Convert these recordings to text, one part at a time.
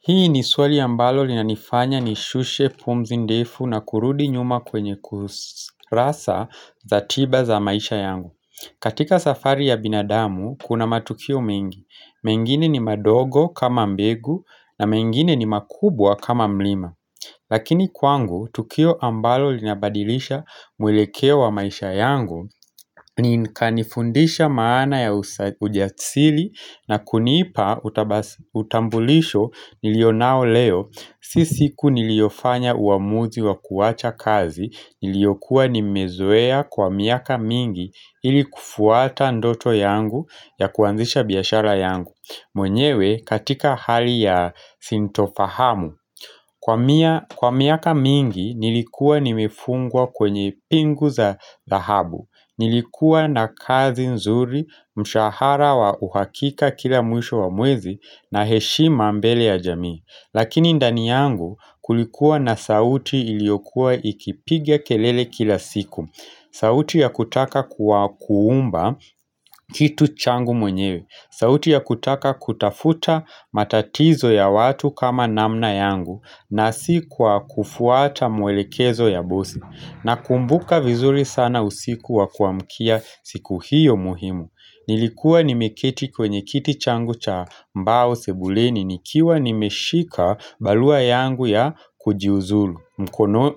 Hii ni swali ambalo linanifanya nishushe pumzi ndefu na kurudi nyuma kwenye kurasa za tiba za maisha yangu katika safari ya binadamu kuna matukio mengi, mengine ni madogo kama mbegu na mengine ni makubwa kama mlima Lakini kwangu, tukio ambalo linabadilisha mwelekeo wa maisha yangu ni kanifundisha maana ya ujasiri na kunipa utambulisho niliyo nao leo Si siku niliofanya uamuzi wa kuwacha kazi niliyo kuwa nimezoea kwa miaka mingi ili kufuata ndoto yangu ya kuanzisha biashara yangu mwenyewe katika hali ya sintofahamu Kwa miaka mingi nilikuwa nimifungwa kwenye pingu za dhahabu Nilikuwa na kazi nzuri, mshahara wa uhakika kila mwisho wa mwezi na heshima mbele ya jamii Lakini ndani yangu kulikuwa na sauti iliokuwa ikipiga kelele kila siku sauti ya kutaka kuwa kuumba kitu changu mwenyewe sauti ya kutaka kutafuta matatizo ya watu kama namna yangu na si kwa kufuata mwelekezo ya bosi na kumbuka vizuri sana usikuwa kuamkia siku hiyo muhimu Nilikuwa nimekiti kwenye kiti changu cha mbao sebuleni nikiwa nimeshika barua yangu ya kujiuzulu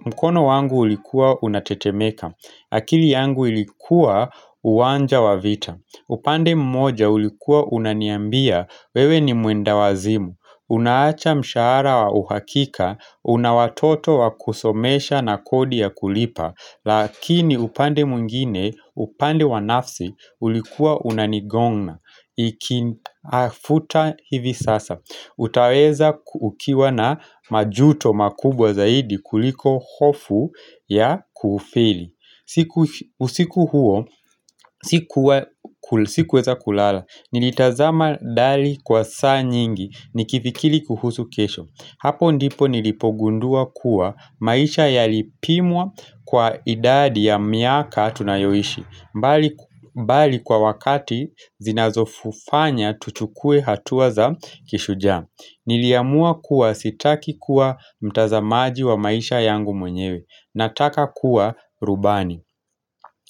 mkono wangu ulikuwa unatetemeka akili yangu ilikuwa uwanja wa vita upande mmoja ulikuwa unaniambia wewe ni mwenda wazimu Unaacha mshahara wa uhakika Unawatoto wa kusomesha na kodi ya kulipa Lakini upande mwingine upande wanafsi ulikuwa unanigonga Iki afuta hivi sasa utaweza ukiwa na majuto makubwa zaidi kuliko hofu ya kufeli siku huo, sikuweza kulala, nilitazama dali kwa saa nyingi, nikifikiri kuhusu kesho Hapo ndipo nilipogundua kuwa maisha yalipimwa kwa idadi ya miaka tunayoishi mbali kwa wakati zinazofufanya tuchukuwe hatuaza kishujaa Niliamua kuwa sitaki kuwa mtazamaji wa maisha yangu mwenyewe Nataka kuwa rubani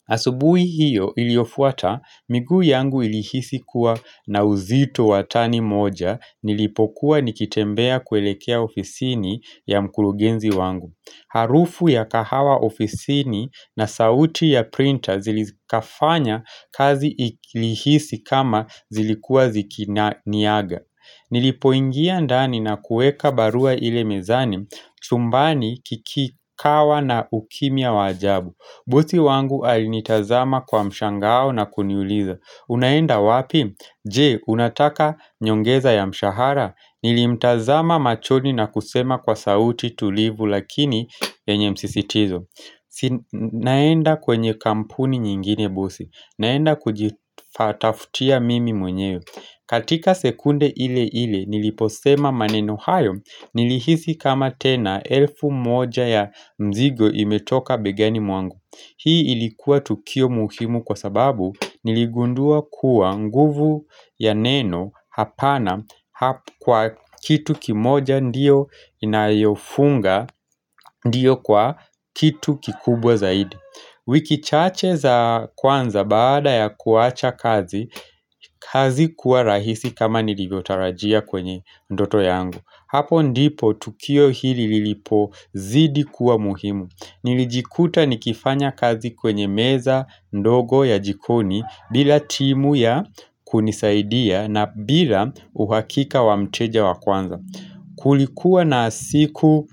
Asubuhi hiyo iliyofuata miguu yangu ilihisi kuwa na uzito watani moja Nilipokuwa nikitembea kuelekea ofisini ya mkurugenzi wangu Harufu ya kahawa ofisini na sauti ya printer Zilikafanya kazi ilihisi kama zilikuwa zikini niaga Nilipoingia ndani na kuweka barua ile mezani chumbani kikikawa na ukimya wa ajabu bosi wangu alinitazama kwa mshangao na kuniuliza Unaenda wapi? Je, unataka nyongeza ya mshahara Nilimtazama machoni na kusema kwa sauti tulivu lakini yenye msisitizo Sinaenda kwenye kampuni nyingine bosi naenda kujifatafutia mimi mwenyewe katika sekunde ile ile niliposema maneno hayo Nilihisi kama tena elfu moja ya mzigo imetoka begani mwangu Hii ilikuwa tukio muhimu kwa sababu niligundua kuwa nguvu ya neno Hapana kwa kitu kimoja ndio inayofunga ndio kwa kitu kikubwa zaidi wiki chache za kwanza baada ya kuwacha kazi kazi kuwa rahisi kama nilivyotarajia kwenye ndoto yangu Hapo ndipo tukio hili lilipo zidi kuwa muhimu Nilijikuta nikifanya kazi kwenye meza ndogo ya jikoni bila timu ya kunisaidia na bila uhakika wamteja wa kwanza Kulikuwa na siku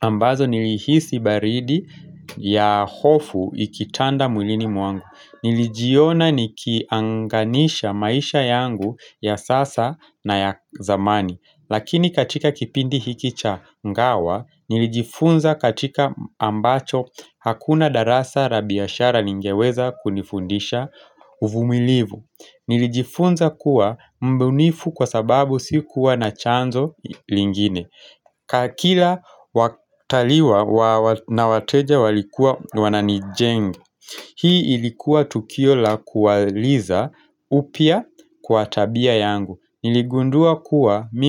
ambazo nilihisi baridi ya hofu ikitanda mwilini mwangu Nilijiona nikianganisha maisha yangu ya sasa na ya zamani Lakini katika kipindi hiki cha ngawa nilijifunza katika ambacho hakuna darasa la biashara ningeweza kunifundisha uvumilivu Nilijifunza kuwa mbunifu kwa sababu sikuwa na chanzo lingine ka kila wataliwa na wateja walikuwa wananijenga Hii ilikuwa tukio la kuwaliza upya kwa tabia yangu Niligundua kuwa mimi.